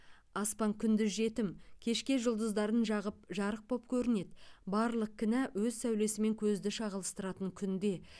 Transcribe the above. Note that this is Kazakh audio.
аспан күндіз жетім кешке жұлдыздарын жағып жарық боп көрінеді барлық кінә өз сәулесімен көзді шағылыстыратын күнде